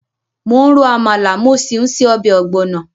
Mò ń ro àmàlà, mo sì ń se ọbẹ̀ ogbono.